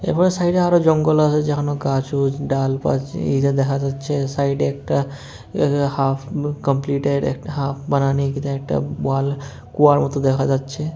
এরপরে সাইডে আরো জঙ্গল আসে যেখানে গাছ-উছ ডালপাছ এইটা দেখা যাচ্ছে সাইডে একটা এ হাফ কমপ্লিটেড হাফ বানানি একটা ওয়াল কুয়ার মত দেখা যাচ্ছে।